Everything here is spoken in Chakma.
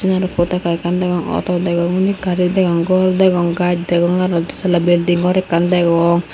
yan aro potaka ekkan degong ato degong undi gari degong gor degong gach degong aro detala belding gor ekkan degong.